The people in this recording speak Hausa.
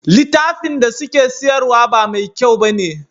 Litafin da suke siyarwa ba me kyau bane